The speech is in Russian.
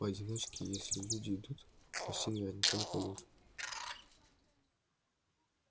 поодиночке если люди идут почти наверняка не пойдут